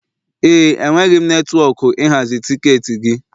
Ee e, enweghị netwọkụ ịhazi tiketi gị.